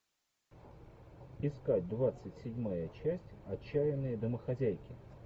искать двадцать седьмая часть отчаянные домохозяйки